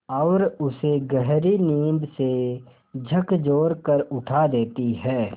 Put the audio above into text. और उसे गहरी नींद से झकझोर कर उठा देती हैं